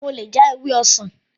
Mo lọ já ewé ọsàn